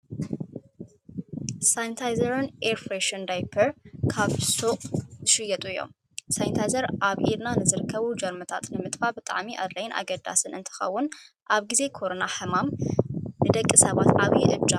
ሳንታይዘርን ኤርፍረሽን ዳይፐር ኣብ ሹቅ ዝሽየጡ እዮም። ሳንታይዘር ኣብ ኢድና ንዝርከቡ ጀርምታት ንምጥፋእ ብጣዕሚ ኣድላይን ኣገዳስን እንትከውን ኣብ ግዜ ኮሮና ሕማም ንደቂ ሰባት ዓብይ እጃም ካብ ዝነበሮም ሓደ እዩ።